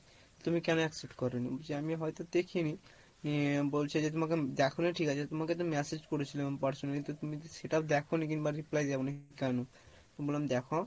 তুমি কেনো accept করোনি? বলছি আমি হয়তো দেখিনি নিয়ে বলছে যে তোমাকে দেখোনি ঠিক আছে তোমাকে তো message করেছিলাম personally তা তুমি তো সেটাও দেখোনি কিংবা reply দাও নি, কেনো? বললাম দেখো